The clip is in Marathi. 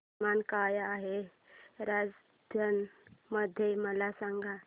तापमान काय आहे राजस्थान मध्ये मला सांगा